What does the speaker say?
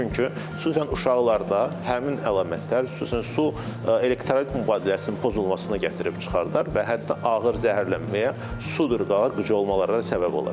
Çünki xüsusən uşaqlarda həmin əlamətlər, xüsusən su, elektrolit mübadiləsinin pozulmasına gətirib çıxardar və hətta ağır zəhərlənməyə, su durğana, qıcolmalara səbəb ola bilər.